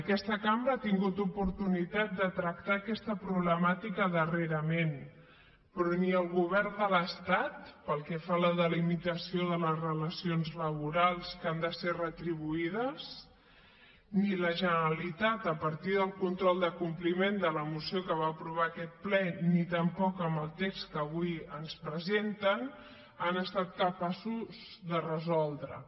aquesta cambra ha tingut oportunitat de tractar aquesta problemàtica darrerament però ni el govern de l’estat pel que fa a la delimitació de les relacions laborals que han de ser retribuïdes ni la generalitat a partir del control de compliment de la moció que va aprovar aquest ple ni tampoc amb el text que avui ens presenten han estat capaços de resoldreho